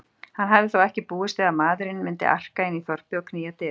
Hann hafði þó ekki búist við maðurinn myndi arka inn í þorpið og knýja dyra.